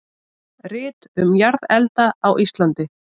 Rit um jarðelda á Íslandi.